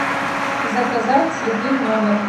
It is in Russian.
заказать цветы в номер